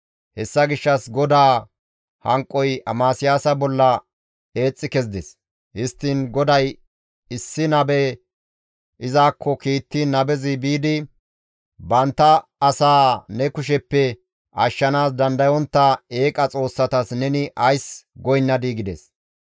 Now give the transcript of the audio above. Hessa gishshas GODAA hanqoy Amasiyaasa bolla eexxi kezides; histtiin GODAY issi nabe izakko kiittiin nabezi biidi, «Bantta asaa ne kusheppe ashshanaas dandayontta eeqa xoossatas neni ays goynnadii?» gides.